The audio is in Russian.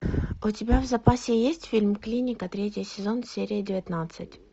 у тебя в запасе есть фильм клиника третий сезон серия девятнадцать